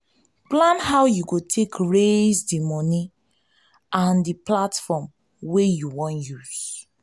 plan how you go take raise the money and the platform wey you wan use